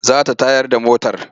Za ta tayar da motar.